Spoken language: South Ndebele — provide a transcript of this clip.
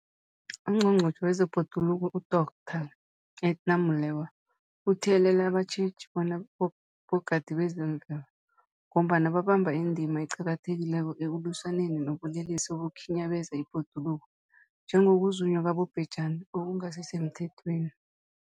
UNgqongqotjhe wezeBhoduluko uDorh Edna Molewa uthiyelele abatjheji bona bogadi bezemvelo, ngombana babamba indima eqakathekileko ekulwisaneni nobulelesi obukhinyabeza ibhoduluko, njengokuzunywa kwabobhejani okungasisemthethweni.